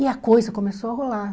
E a coisa começou a rolar.